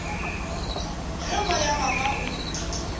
ge moya wa ka o